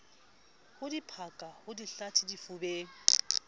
ho diphaka ho dihlathe difubeng